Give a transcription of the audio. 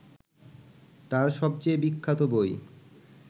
তাঁর সবচেয়ে বিখ্যাত বই